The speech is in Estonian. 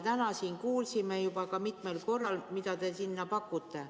Täna me kuulsime juba mitmel korral, mida te sinna pakute.